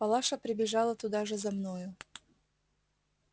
палаша прибежала туда же за мною